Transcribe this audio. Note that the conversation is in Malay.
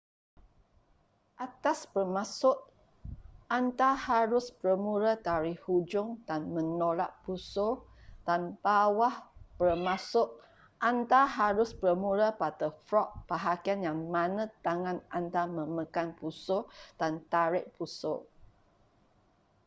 atas bermaksud anda harus bermula dari hujung dan menolak busur dan bawah bermaksud anda harus bermula pada frog bahagian yang mana tangan anda memegang busur dan tarik busur